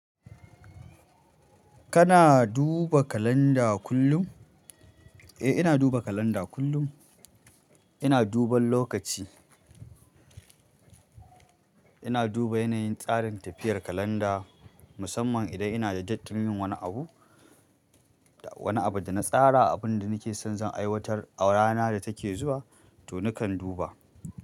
Kana duba kalanda kullum? Eh, ina duba kalanda kullum. Ina duban lokaci. Ina duba yanayin tsarin tafiyar kalanda, musamman idan ina da tattali wani abu, wani abu da na tsara, abin da nake son zan aiwatar a rana da take zuwa, to nakan duba.